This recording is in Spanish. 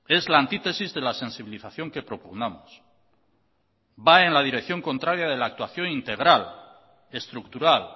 es la antítesis de la sensibilización que propugnamos va en la dirección contraria de la actuación integral estructural